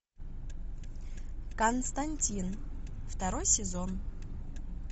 константин второй сезон